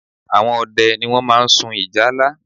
Àwọn ọdẹ ni wọ́n máa ń sun ìjálá